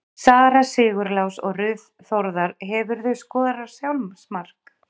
Sara Sigurlás og Ruth Þórðar Hefurðu skorað sjálfsmark?